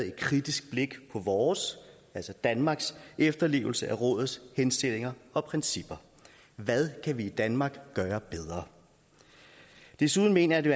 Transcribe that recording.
et kritisk blik på vores altså danmarks efterlevelse af rådets henstillinger og principper hvad kan vi i danmark gøre bedre desuden mener jeg det